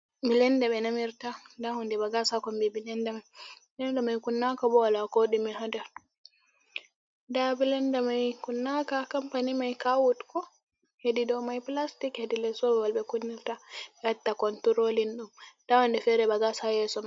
Bilende ɓe namirta nda hunde ba gas ha konbii bilenda mai. Bilenda mai kunnaaka bo woola koɗime ha nder. Nda bilenda mai kunnaka kampani mai kawuut ko, hedi dou mai pilastik hedi lees babal ɓe kunnirta ɓee wadda konturoolin ɗum nda huunde feere ba gas ha yeeso.